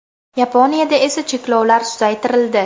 Yaponiyada esa cheklovlar susaytirildi.